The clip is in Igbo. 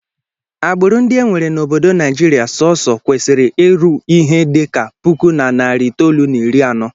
Agbụrụ ndị e nwere n'obodo Naijiria sọọsọ kwesịrị iru ihe dị ka puku na narị itoolu na iri anọ